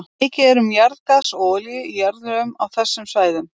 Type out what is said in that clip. Mikið er um jarðgas og olíu í jarðlögum á þessum svæðum.